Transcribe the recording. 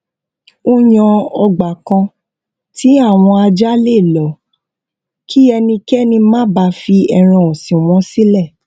ó yan ọgbà kan tí àwọn ajá lè lọ kí ẹnikẹni má bàa fi ẹran òsìn wọn sílẹ